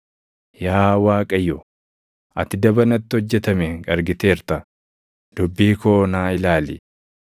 Yaa Waaqayyo, ati daba natti hojjetame argiteerta; dubbii koo naa ilaali!